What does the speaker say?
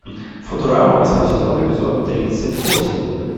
футурама восьмой сезон эпизод тридцать восемь